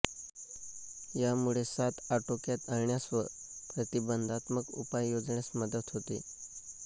यामुळे साथ आटोक्यात आणण्यास व प्रतिबंधात्मक उपाय योजण्यास मदत होते